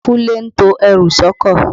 Kúnlé ń to ẹrù sọ́kọ̀.